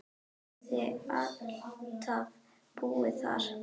Hafði alltaf búið þar.